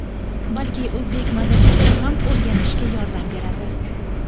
balki o‘zbek madaniyatini ham o‘rganishga yordam beradi.